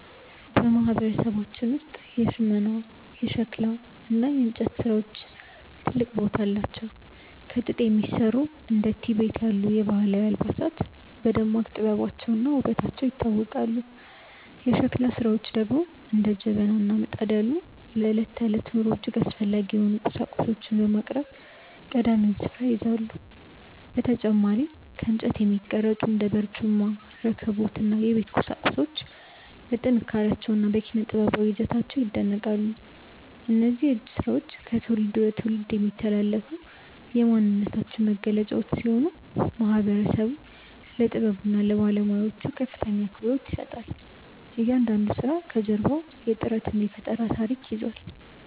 በማህበረሰባችን ውስጥ የሽመና፣ የሸክላ እና የእንጨት ስራዎች ትልቅ ቦታ አላቸው። ከጥጥ የሚሰሩ እንደ ቲቤት ያሉ ባህላዊ አልባሳት በደማቅ ጥበባቸውና ውበታቸው ይታወቃሉ። የሸክላ ስራዎች ደግሞ እንደ ጀበና እና ምጣድ ያሉ ለዕለት ተዕለት ኑሮ እጅግ አስፈላጊ የሆኑ ቁሳቁሶችን በማቅረብ ቀዳሚውን ስፍራ ይይዛሉ። በተጨማሪም ከእንጨት የሚቀረጹ እንደ በርጩማ፣ ረከቦት እና የቤት ቁሳቁሶች በጥንካሬያቸውና በኪነ-ጥበባዊ ይዘታቸው ይደነቃሉ። እነዚህ የእጅ ስራዎች ከትውልድ ወደ ትውልድ የሚተላለፉ የማንነታችን መገለጫዎች ሲሆኑ፣ ማህበረሰቡም ለጥበቡና ለባለሙያዎቹ ከፍተኛ አክብሮት ይሰጣል። እያንዳንዱ ስራ ከጀርባው የጥረትና የፈጠራ ታሪክ ይዟል።